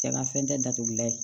Jakafɛn tɛ datugula ye